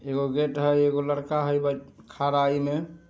एगो गेट हेय एगो लड़का है ब खड़ा ईनने---